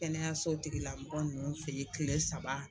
Kɛnɛyaso tigi lamɔgɔ ninnu fɛ ye kile saba.